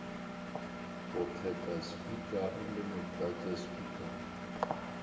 go kgetha spikara le motlatšaspikara